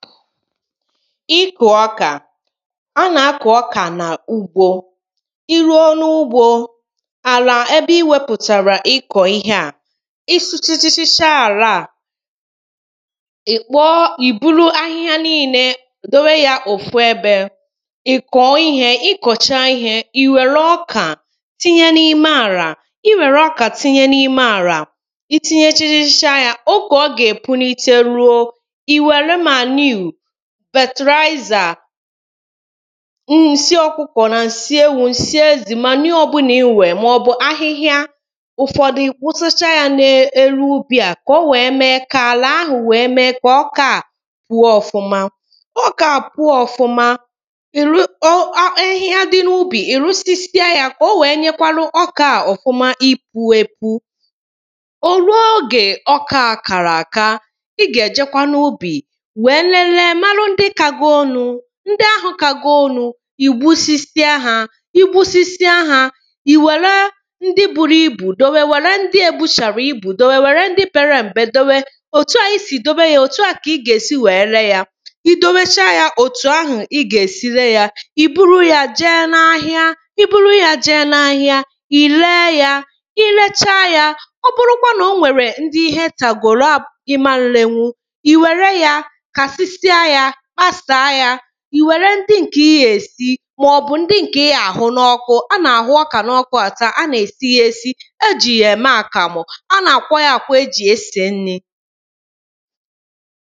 ikụ̀ ọkà a nà-akụ̀ ọkà n’ugbo ị ruo n’ugbo àlà ebe ị wepụ̀tàrà ịkọ̀ ịhe a ị sụchachacha àla a ị̀ buru ahịhịa nile dowe ya òfu ebe ìkọ̀o ihē ikọchaa ihē ì wère ọkà tinye n’ime àlà ị were ọkà tinye n’ime àlà ị tinyechachacha ya ogè ọ gà-epunite ruo ị wère manure fertilizer ǹsị ọkụkọ̀ nà ǹsị ewu ǹsị ezì manure ọbụlà ị nwèrè mà ọ̀bụ̀ ahịhịa ụ̀fọdụ ì wusacha ya n’elu ubì à kà o wee mee kà àlà àhụ̀ wee mee kà ọ kọọ àkọ puo ọ̀fụma ọkà à puo òfụma ahịhịa dị n’ubi ì rụsịsịa ya kà o wèé nyekwanụ ọkà à ofụma ipu epu o ruo ogè ọkà à kàrà àka ị gà-èjekwa n’ubì wèe lelee mara ndị kagoronu ńdɪ́ áɦʊ̄ kágórónú ì wusisia ha i wusisia ha ì wèré ńdɪ́ búrú íbù dewe wère ndị ebuchàghị̀ ibù dewe wère ndị pere m̀pe dewe òtu à i sì dewe ya òtù kà ị gà-èsi wèe ree ya i dewechaa ya ètù ahụ̀ ị gà-èsi ree ya ì buru ya jee n’ahịa í búrú já ʤéé nááɦɪ́á ì réé já í rééʧáá já ọ bụrụkwa nà o nwèrè ndị ihe tàgòrò í máá rénʷú ì wère ya kàsɪ́sɪ́á já kpasàa ya ì wère ndị ǹkè ị gà-èsi màɔ̀bʊ̀ ńdɪ́ ŋ̀kè ɪ́ gà àɦʊ́ nàɔ́kʊ́ a nà-àhụ ọkà n’ọkụ àta ya a nà-èsi ya èsi éʤì jà èmé àkàmù a nà-àkwọ ya àkwọ ejì esè nrī